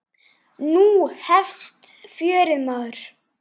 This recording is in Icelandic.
Nú hefst fjörið, maður.